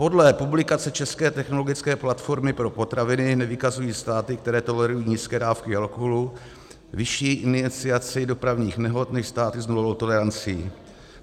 Podle publikace České technologické platformy pro potraviny nevykazují státy, které tolerují nízké dávky alkoholu, vyšší iniciaci dopravních nehod než státy s nulovou tolerancí.